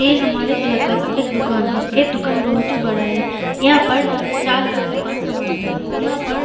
ये हमारे इलाका का एक दुकान है ऐ दुकान बहुत ही बड़ा है यहाँ पर चार लोग दुकान संभालता है यहाँ पर --